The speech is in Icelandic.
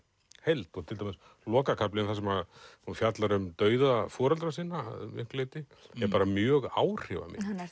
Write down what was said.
heild til dæmis lokakaflinn þar sem hún fjallar um dauða foreldra sinna að miklu leyti er mjög áhrifamikill hann